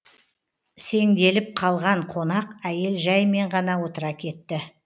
сеңделіп қалған қонақ әйел жәймен ғана отыра кетті